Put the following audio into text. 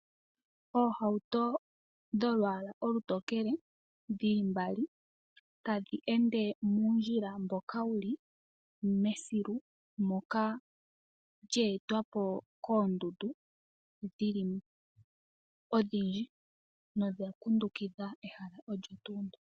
Oohauto dholwaala olu tokele, dhi li mbali, ta dhi ende muundjila mboka wu li mesiku, moka lya etwapo koondundu odhindji dha kundukidha ehala olyo tuu ndyo.